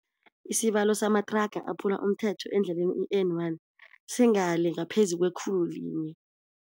Isibalo samathraga aphula umthetho endleleni i-N one singale ngaphezu kwekhulu linye.